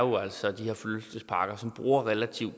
var jo sådan